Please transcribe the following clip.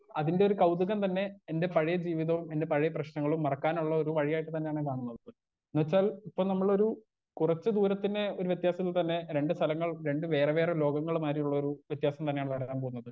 Speaker 1 അതിന്റൊരു കൗതുകം തന്നെ എന്റെ പഴേ ജീവിതവും എന്റെ പഴേ പ്രശ്നങ്ങളും മറക്കാനുള്ളൊരു വഴിയായിട്ട് തന്നേണ് കാണുന്നത് എന്നുവെച്ചാൽ ഇപ്പൊ നമ്മളൊരു കുറച്ച് ദൂരത്തിനെ ഒരു വ്യത്യാസത്തിൽ തന്നെ രണ്ട് സ്ഥലങ്ങൾ രണ്ട് വേറെ വേറെ ലോകങ്ങൾ മാരിള്ളൊരു വ്യത്യാസം തന്നെയാണ് വരാൻ പോകുന്നത്.